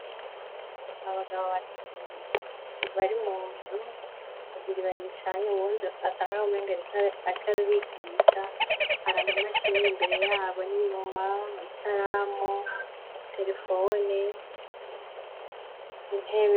Abagabo batatu bari munzu ,babiri baricaye uwundi asa nkaho umengo arik'arabigisha har'ama mashini imbere yabo ,n'inyuma ikaramu, terefoni, intebe.